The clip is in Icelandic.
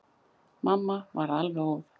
Mamma varð alveg óð.